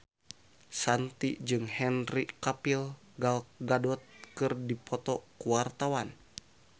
Shanti jeung Henry Cavill Gal Gadot keur dipoto ku wartawan